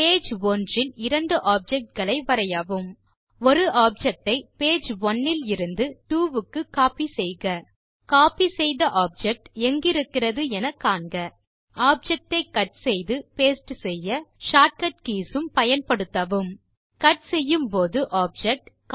page ஒன்றில் இரண்டு objects வரையவும் ஒரு ஆப்ஜெக்ட் ஐ பேஜ் ஒனே இலிருந்து பேஜ் ட்வோ க்கு கோப்பி செய்க கோப்பி செய்த ஆப்ஜெக்ட் எங்கிருக்கிறது என காண்க ஆப்ஜெக்ட் ஐ கட் செய்து பாஸ்டே செய்ய short கட் கீஸ் ஐ பயன்படுத்தவும் கட் செய்யும் போது ஆப்ஜெக்ட்